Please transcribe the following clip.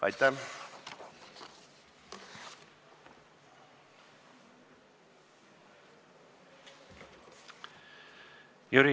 Aitäh!